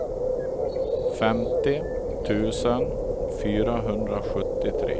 femtio tusen fyrahundrasjuttiotre